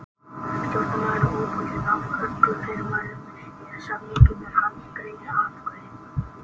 Stjórnarmaður er óbundinn af öllum fyrirmælum eða samningum er hann greiðir atkvæði.